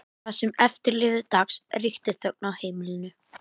Það sem eftir lifði dags ríkti þögn á heimilinu.